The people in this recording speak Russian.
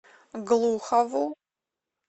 глухову